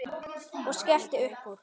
Og skellti upp úr.